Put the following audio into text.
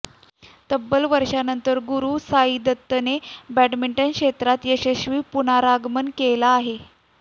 तब्बल वर्षांनंतर गुरूसाईदत्तने बॅडमिंटन क्षेत्रात यशस्वी पुनरागमन केले आहे